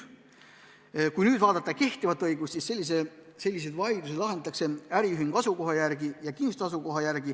Kehtiva õiguse kohaselt lahendatakse selliseid vaidlusi vastavalt äriühingu asukohale ja kinnistu asukohale.